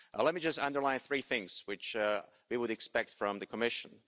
Let me just underline three things which we would expect from the Commission.